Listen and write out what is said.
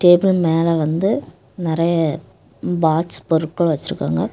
Table மேல வந்து நிறைய பாட்ச் பொருட்கள் வச்சிருக்காங்க.